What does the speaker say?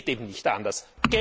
Es geht eben nicht anders.